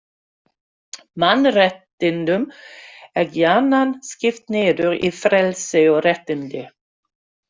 Mannréttindum er gjarnan skipt niður í frelsi og réttindi.